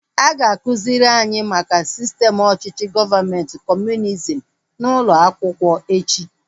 A ga-akụziri anyị maka sistem ọchịchị gọọmenti kọmunizm n'ụlọ akwụkwọ echi